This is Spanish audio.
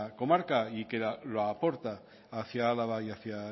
comarca y que lo aporta hacia álava y hacia